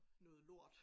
Noget lort